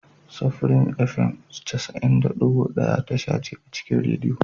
Supreme Fm cas'in da shida da ɗigo daya tasha ce a cikin rediyo.